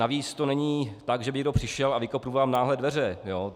Navíc to není tak, že by někdo přišel a vykopl vám náhle dveře.